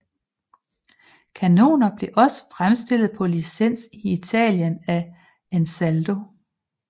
Kanoner blev også fremstillet på licens i Italien af Ansaldo